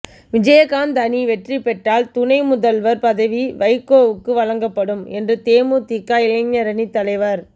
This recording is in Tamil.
விஜயகாந்த் அணி வெற்றி பெற்றால் துணை முதல்வர் பதவி வைகோவுக்கு வழங்கப்படும் என்று தேமுதிக இளைஞரணித் தலைவர்